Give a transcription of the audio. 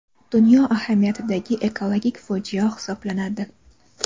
dunyo ahamiyatidagi ekologik fojia hisoblanadi.